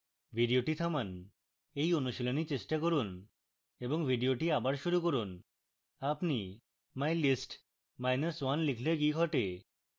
video থামান এই অনুশীলন করুন এবং video আবার শুরু করুন